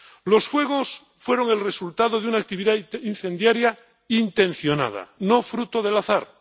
Los fuegos fueron el resultado de una actividad incendiaria intencionada, no fruto del azar.